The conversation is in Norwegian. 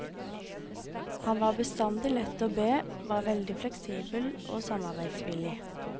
Han var bestandig lett å be, var veldig fleksibel og samarbeidsvillig.